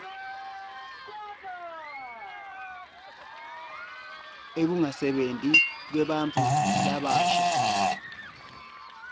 ekungasebenti kwebantfu labasha